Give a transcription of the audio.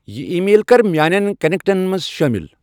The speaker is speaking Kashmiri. یِہ ای میل کر میانین کنٹیکٹن منز شٲمل ۔